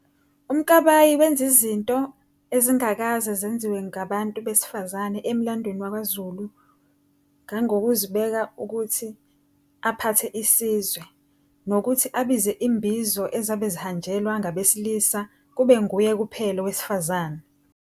UMkabayi wanza izinto ezingakazi zenzuwe ngobantu besifazane emlandweni wakwaZulu ngongokuzibeka ukuthi aphathe isizwe, nokuthi abize izimbizo ezabe zihanjelwa ngabesilisa kube nguye kuphela owasifazane.